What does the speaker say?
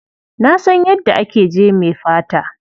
Na san yadda ake jeme fata.